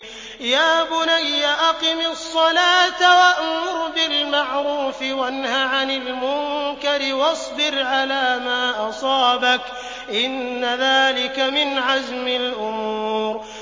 يَا بُنَيَّ أَقِمِ الصَّلَاةَ وَأْمُرْ بِالْمَعْرُوفِ وَانْهَ عَنِ الْمُنكَرِ وَاصْبِرْ عَلَىٰ مَا أَصَابَكَ ۖ إِنَّ ذَٰلِكَ مِنْ عَزْمِ الْأُمُورِ